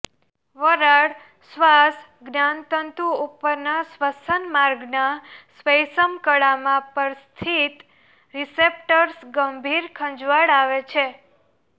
વરાળ શ્વાસ જ્ઞાનતંતુ ઉપરના શ્વસન માર્ગના શ્વૈષ્મકળામાં પર સ્થિત રીસેપ્ટર્સ ગંભીર ખંજવાળ આવે છે